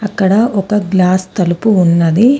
ఇక్కడ ఒక గ్లాస్ తలుపు ఉన్నది.